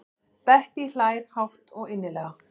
Bettý hlær hátt og innilega.